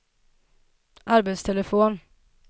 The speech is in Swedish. arbetstelefon